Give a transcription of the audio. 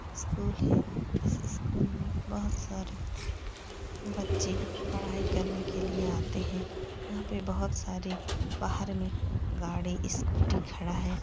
School है। इस school में बोहोत सारे बच्चे पढ़ाई करने के लिए आते हैं। यहाँ पे बोहोत सारे बाहर में गाड़ी स्कूटी खड़ा है।